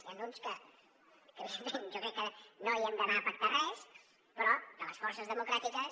n’hi han uns que evidentment jo crec que no hi hem d’anar a pactar res però de les forces democràtiques